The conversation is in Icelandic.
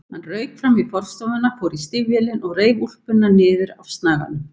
Hann rauk fram í forstofuna, fór í stígvélin og reif úlpuna niður af snaganum.